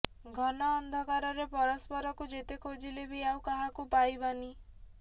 ଘନ ଅନ୍ଧକାରରେ ପରସ୍ପରକୁ ଯେତେ ଖୋଜଲେ ବି ଆଉ କାହାକୁ ପାଇବାନି